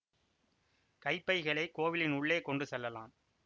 கைப்பைகளை கோவிலின் உள்ளே கொண்டு செல்லலாம்